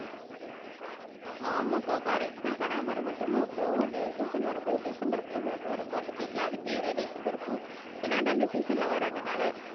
ஆமாக்கா கரெக்ட் தான் கனகாமரம் மட்டுமா அப்புறம் அந்த சீசன் வரும்போது டிசம்பர் பூ ஒண்ணு வரும் பாத்துட்டீங்களா அது பேரே டிசம்பர் பூ ஏன்னா அது அந்த சீசன்ல வரதுனால